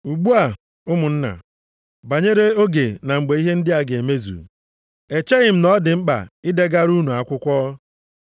Ugbu a, ụmụnna, banyere oge na mgbe ihe ndị a ga-emezu. Echeghị m na ọ dị mkpa i degara unu akwụkwọ.